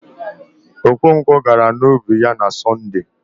Okonkwọ gara n'ubi ya na Sọnde